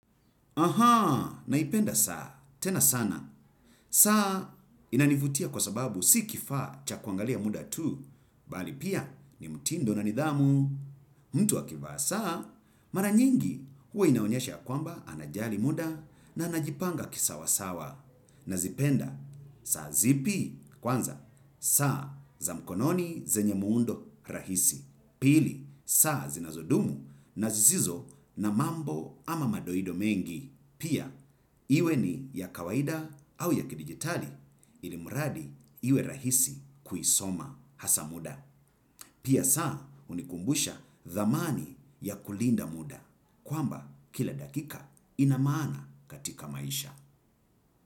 Aha, naipenda saa, tena sana. Saa inanivutia kwa sababu si kifaa cha kuangalia muda tu, bali pia ni mtindo na nidhamu. Mtu akivaa saa, mara nyingi huwa inaonyesha ya kwamba anajali muda na anajipanga kisawasawa. Nazipenda saa zipi? Kwanza, saa za mkononi zenye muundo rahisi. Pili, saa zinazodumu na zisizo na mambo ama madoido mengi. Pia iwe ni ya kawaida au ya kidijitali ilimradi iwe rahisi kuisoma hasa muda. Pia saa hunikumbusha thamani ya kulinda muda kwamba kila dakika ina maana katika maisha.